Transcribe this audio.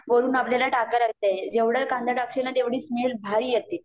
वरून आपल्याला टाकायला लागते, जेवढे कांदे टाकशील ना तेवढी स्मेल भारी येते